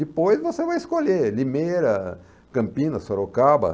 Depois você vai escolher Limeira, Campinas, Sorocaba.